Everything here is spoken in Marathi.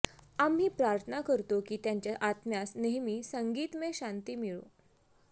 आम्ही प्रार्थना करतो की त्यांच्या आत्म्यास नेहमी संगीतमय शांती मिळो